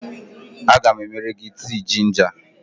Aga m emere gị tii jinja